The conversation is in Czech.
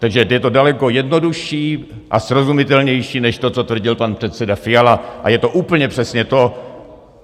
Takže je to daleko jednodušší a srozumitelnější než to, co tvrdil pan předseda Fiala, a je to úplně přesně to -